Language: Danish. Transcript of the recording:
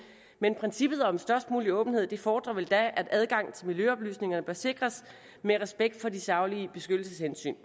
men princippet om størst mulig åbenhed fordrer vel at adgang til miljøoplysninger bør sikres med respekt for de saglige beskyttelseshensyn